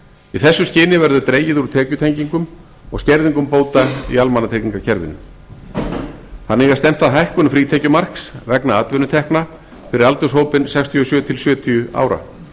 í þessu skyni verður dregið úr tekjutengingum og skerðingum bóta í almannatryggingakerfinu þannig er stefnt að hækkun frítekjumarks vegna atvinnutekna fyrir aldurshópinn sextíu og sjö til sjötíu ára